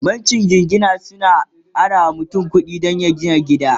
bankin jingina sukan arawa mutum kuɗi Dan mutum ya gina gida